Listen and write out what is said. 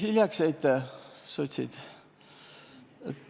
Hiljaks jäite, sotsid!